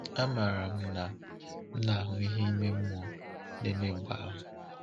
Amaara m na m na-ahụ ihe ime mmụọ na-eme mgbe ahụ.